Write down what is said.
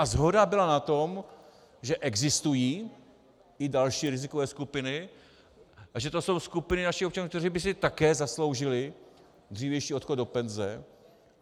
A shoda byla na tom, že existují i další rizikové skupiny a že to jsou skupiny našich občanů, kteří by si také zasloužili dřívější odchod do penze.